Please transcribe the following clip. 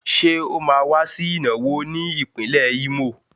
Ṣé ó máa wá sí ìnáwó ní ìpínlẹ̀ Ímò?